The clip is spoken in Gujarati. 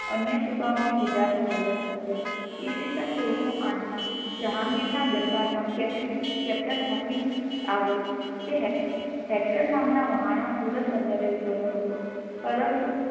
અન્ય સૂબાઓ ને ગુજરાત નો વહીવટ સોંપ્યો ઈસ્વીસન સોળસો આઠ મા જેહાંગીર ના દરબાર મા captain hockey આવ્યો તે hector નામના વાહન મા સુરત બંદર ઉતર્યો હતો પરંતુ